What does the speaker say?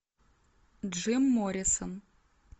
джим моррисон